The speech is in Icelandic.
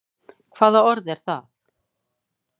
Hvaða orð er það?